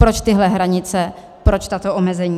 Proč tyhle hranice, proč tato omezení?